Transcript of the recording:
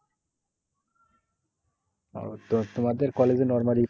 ওহ তো তোমাদের college এ normally